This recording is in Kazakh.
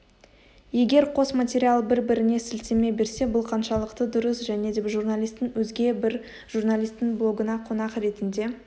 егер қос материал бір-біріне сілтеме берсе бұл қаншалықты дұрыс және де журналистің өзге бір журналистің блогына қонақ ретінде